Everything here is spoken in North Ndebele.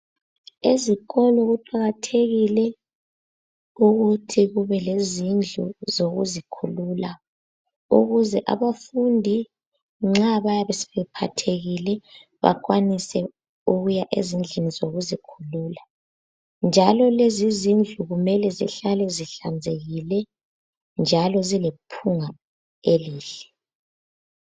Ezikolo kuqakathekile ukuthi kube lezindlu zokuzikhulula ukuze abafundi nxa bayabe sebephathekile bakwanise ukuya ezindlini zokuzikhulula njalo lezi zindlu kumele zihlale zihlanzekile njalo zilephunga elihle.